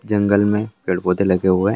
जंगल में पेड़ पोधे लगे हुए।